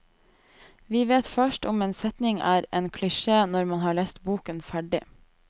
Vi vet først om en setning er en klisjé når man har lest boken ferdig.